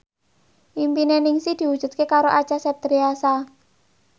impine Ningsih diwujudke karo Acha Septriasa